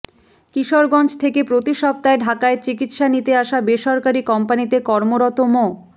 কিশোরগঞ্জ থেকে প্রতি সপ্তাহে ঢাকায় চিকিৎসা নিতে আসা বেসরকারি কোম্পানীতে কর্মরত মো